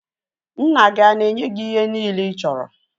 Nna gị ana-enye gị ihe niile ị chọrọ